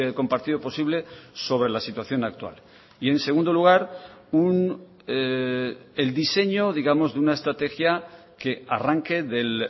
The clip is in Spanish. compartido posible sobre la situación actual y en segundo lugar el diseño digamos de una estrategia que arranque del